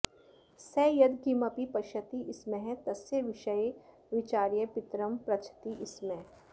सः यद् किमपि पश्यति स्म तस्य विषये विचार्य पितरम् पृच्छति स्म